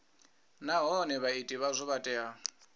nahone vhaiti vhazwo vha tea